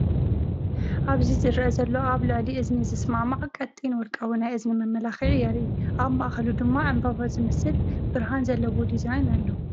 ኣብዚ ዝረአ ዘሎ ኣብ ልዕሊ እዝኒ ዝሰማማዕ ቀጢን ወርቃዊ ናይ እዝኒ መመላክዒ የርኢ። ኣብ ማእከሉ ድማ ዕምባባ ዝመስል ብርሃን ዘለዎ ዲዛይን ኣሎ።